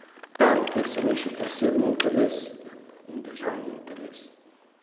Tam, kjer se mešata osebni interes in državni interes.